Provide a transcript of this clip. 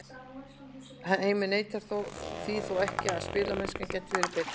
Heimir neitar því þó ekki að spilamennskan gæti verið betri.